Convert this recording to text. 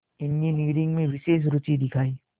engineering में विशेष रुचि दिखाई